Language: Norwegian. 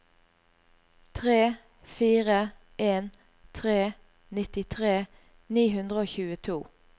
tre fire en tre nittitre ni hundre og tjueto